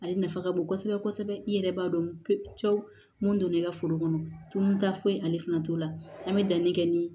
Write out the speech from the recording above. Ale nafa ka bon kosɛbɛ kosɛbɛ i yɛrɛ b'a dɔn cɛw mun don ne ka foro kɔnɔ tunta foyi ale fana t'o la an bɛ danni kɛ ni